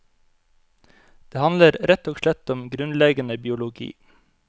Det handler rett og slett om grunnleggende biologi.